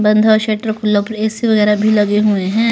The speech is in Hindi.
बंधा शटर खुल्ला ए सी वगैरह भी लगे हुए हैं.